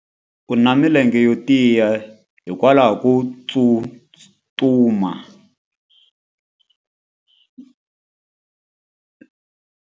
U na milenge yo tiya hikwalaho ko tsustuma.